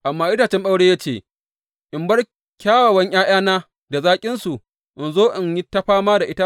Amma itacen ɓauren ya ce, In bar kyawawan ’ya’yana da zaƙinsu, in zo in yi ta fama da itatuwa?’